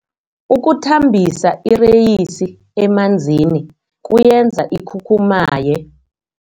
Ukuthambisa ireyisi emanzini kuyenza ikhukhumaye.